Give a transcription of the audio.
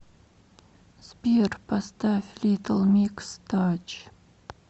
сбер поставь литл микс тач